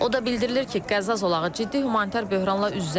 O da bildirilir ki, Qəzza zolağı ciddi humanitar böhranla üz-üzədir.